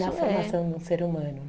Na formação de um ser humano